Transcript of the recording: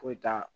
Foyi t'a la